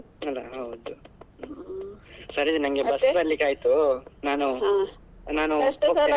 ಅಲ್ಲಾ ಹೌದು. ಸರಿ ನಂಗೆ bus ಬರಲಿಕ್ಕೆ ಆಯ್ತು ನಾನು .